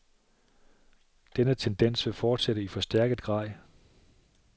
Denne tendens vil fortsætte i forstærket grad.